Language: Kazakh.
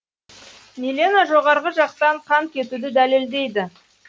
мелена жоғарғы жақтан қан кетуді дәлелдейді